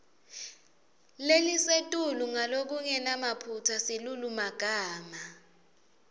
lelisetulu ngalokungenamaphutsa silulumagama